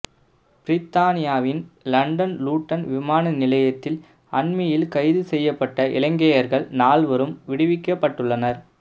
பிரித்தானியாவின் London Luton விமான நிலையத்தில் அண்மையில் கைதுசெய்யப்பட்ட இலங்கையர்கள் நால்வரும் விடுவிக்கப்பட்டுள்ளனர்